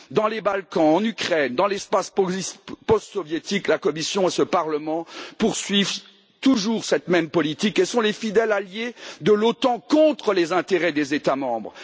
Dans les Balkans, en Ukraine, dans l'espace post soviétique, la Commission et ce Parlement poursuivent toujours cette même politique et sont les fidèles alliés de l'OTAN contre les intérêts des États membres.